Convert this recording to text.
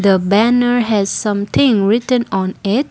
the banner has something written on it.